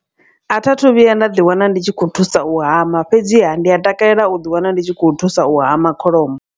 A tha thu vhuya nda ḓi wana ndi tshi khou thusa u hama fhedziha ndi a takalela u ḓi wana ndi tshi khou thusa u hama kholomo.